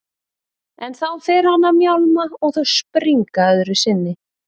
En þá fer hann að mjálma og þau springa öðru sinni.